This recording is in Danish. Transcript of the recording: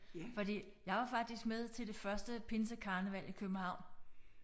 Fordi jeg var faktisk med til det første pinsekarneval i København